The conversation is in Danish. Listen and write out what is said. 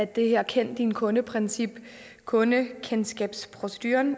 det her kend din kunde princip kundekendskabsproceduren